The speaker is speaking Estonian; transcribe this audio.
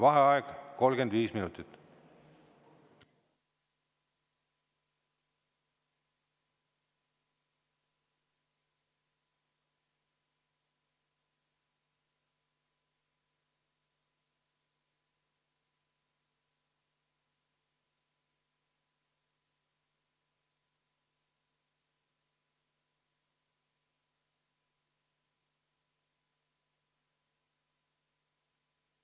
Vaheaeg 35 minutit.